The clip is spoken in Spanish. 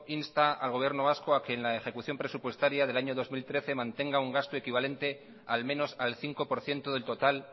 insta al gobierno vasco a que en la ejecución presupuestaria del año dos mil trece mantenga un gasto equivalente al menos al cinco por ciento del total